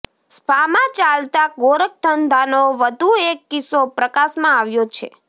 સ્પામાં ચાલતા ગોરખધંધાનો વધુ એક કિસ્સો પ્રકાશમાં આવ્યો છે